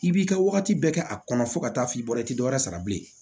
I b'i ka wagati bɛɛ kɛ a kɔnɔ fo ka taa f'i bɔ i tɛ dɔ wɛrɛ sara bilen